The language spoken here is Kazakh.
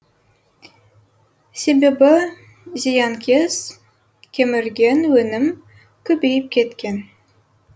себебі зиянкес кемірген өнім көбейіп кеткен